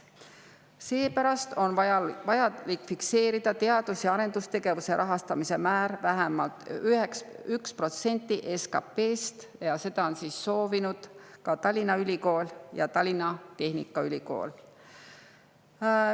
Seepärast on vaja fikseerida teadus- ja arendustegevuse rahastamise määraks vähemalt 1% SKP‑st. Seda on soovinud ka Tallinna Ülikool ja Tallinna Tehnikaülikool.